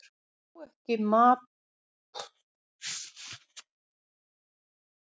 Á ekki fyrir mat handa börnunum